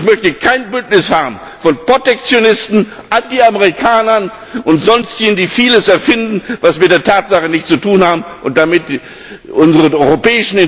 Ich möchte kein Bündnis haben von Protektionisten, Anti Amerikanern und Sonstigen, die vieles erfinden, was mit den Tatsachen nichts zu tun hat, und damit unsere europäischen Interessen, die Interessen unserer Arbeitnehmer zerstören.